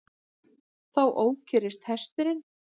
Þá ókyrrist hesturinn.